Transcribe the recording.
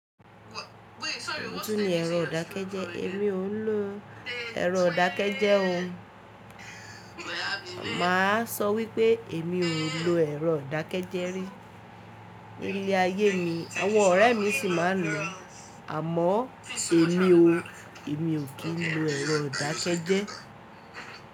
Èwo tun ni ẹ̀rọ ìdákẹ́jẹ́. Èmi ò ń lo ẹ̀rọ ìdákẹ́jẹ́ o. Máa sọ wípé èmi ò lo ẹ̀rọ ìdákẹ́jẹ́ rí nílé ayé mi. Àwọn ọ̀rẹ́ mi sì máa ń lo. Àmọ́ èmi o, èmi ò kí ń lo ẹ̀rọ ìdákẹ́jẹ́.